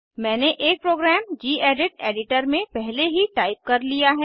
मैंने एक program gedit editor में पहले ही टाइप कर लिया है